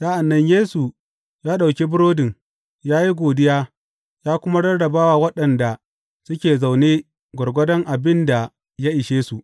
Sa’an nan Yesu ya ɗauki burodin, ya yi godiya, ya kuma rarraba wa waɗanda suke zaune gwargwadon abin da ya ishe su.